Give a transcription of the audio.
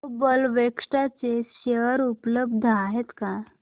global Vectra चे share उपलब्ध आहेत का